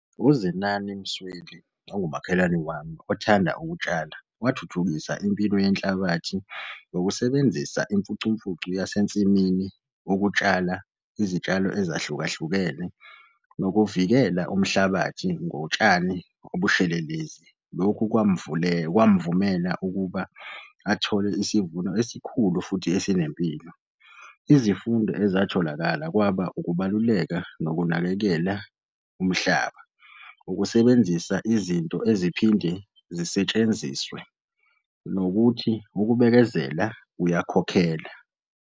UZenani Msweli ongumakhelwane wami othanda ukutshala, wathuthukisa impilo yenhlabathi ngokusebenzisa imfucumfucu yasensimini ukutshala izitshalo ezahlukahlukene nokuvikela umhlabathi ngotshani obushelelezi. Lokhu kwamvumela ukuba athole isivuno esikhulu futhi esinempilo. Izifundo ezatholakala kwaba ukubaluleka nokunakekela umhlaba. Ukusebenzisa izinto eziphinde zisetshenziswe nokuthi ukubekezela kuyakhokhela.